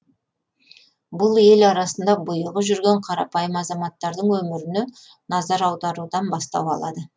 бұл ел арасында бұйығы жүрген қарапайым азаматтардың өміріне назар аударудан бастау алады